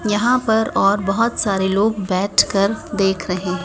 यहां पर और बहोत सारे लोग बैठकर देख रहे हैं।